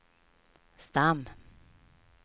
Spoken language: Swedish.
stam